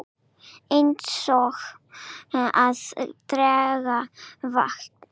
Eins og að drekka vatn.